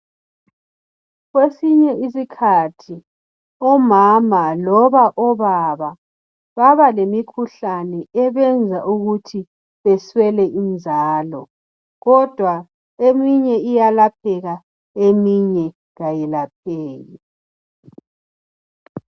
Kwesinye isikhathi, omama loba obaba baba lemikhuhlane ebenza ukuthi beswele inzalo kodwa eminye iyalapheka eminye kayilapheki.